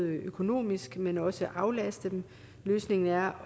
økonomisk men også aflaste dem løsningen er